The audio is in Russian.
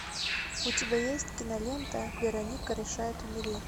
у тебя есть кинолента вероника решает умереть